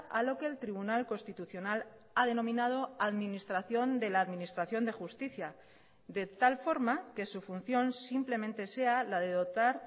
a lo que el tribunal constitucional ha denominado administración de la administración de justicia de tal forma que su función simplemente sea la de dotar